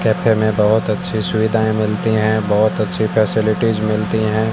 Cafe में बहुत अच्छी सुविधाएं मिलती हैं बहुत अच्छी फैसेलिटीज मिलती हैं।